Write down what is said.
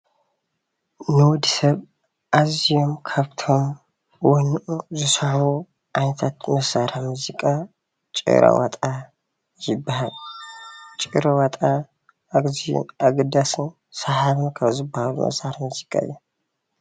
ንወዲ ሰብ ኣዝዮም ካብቶም ወኑኡ ዝስሕቡ ኣንፈት መሳርሒ ሙዚቃ ጭራ ዋጣ ይባሃል፡፡ ጭራ ዋጣ ኣዝዩን ኣገዳስን ሰሓብን ካብ ዝብሃሉ መሳርሒ ምዚቃ እዩ፡፡